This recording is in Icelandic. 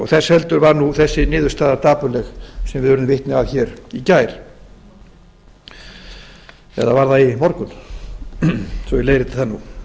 þess heldur var nú þessi niðurstaða dapurleg sem við urðum vitni að hér í gær eða var það í morgun svo að ég leiðrétti það nú